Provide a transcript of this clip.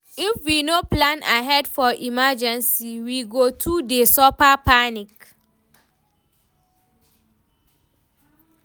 If we no plan ahead for emergency, we go too dey suffer panic.